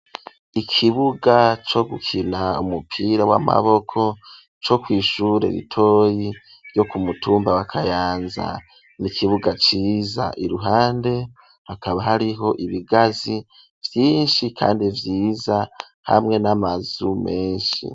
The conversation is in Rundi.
Ikibuga co gukina umupira w'amaboko co kw'ishura ritoyi ryo ku mutumba wa Kayanza n'ikibuga ciza iruhande hakaba hariho ibigazi vyinshi kandi vyiza hamwe n'amazu meshi